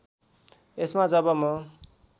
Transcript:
यसमा जब म